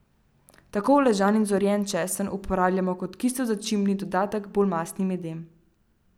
Tako uležan in zorjen česen uporabljamo kot kisel začimbni dodatek bolj mastnim jedem.